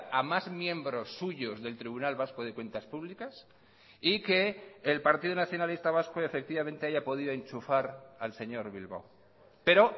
a más miembros suyos del tribunal vasco de cuentas públicas y que el partido nacionalista vasco efectivamente haya podido enchufar al señor bilbao pero